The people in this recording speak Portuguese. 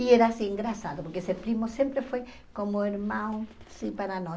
E era assim, engraçado, porque esse primo sempre foi como um irmão, assim, para nós.